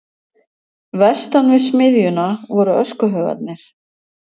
Vestan við smiðjuna voru öskuhaugarnir.